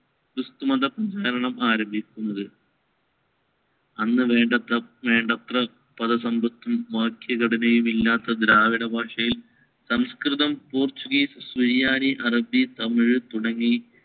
ക്രിസ്തുമത പ്രചരണം ആരംഭിക്കുന്നത്. അന്ന് വേണ്ടത്ര വേണ്ടത്ര പദസമ്പത്തും വാക്യഘടനയും ഇല്ലാത്ത ദ്രാവിഡ ഭാഷയിൽ സംസ്‌കൃതം, പോർച്ചുഗീസ്, സുറിയാനി, അറബി, തമിഴ് തുടങ്ങി